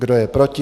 Kdo je proti?